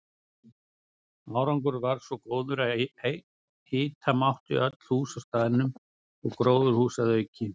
Árangur varð svo góður að hita mátti öll hús á staðnum og gróðurhús að auki.